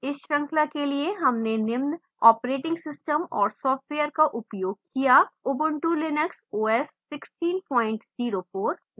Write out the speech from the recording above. इस श्रृंखला के लिए हमने निम्न ऑपरेटिंग सिस्टम और software का उपयोग किया: ubuntu linux os 1604